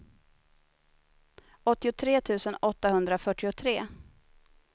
åttiotre tusen åttahundrafyrtiotre